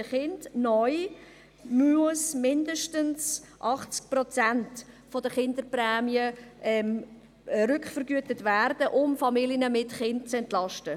Neu müssen mindestens 80 Prozent der Kinderprämie rückvergütet werden, um Familien mit Kindern zu entlasten.